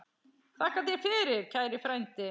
Þakka þér fyrir, kæri frændi.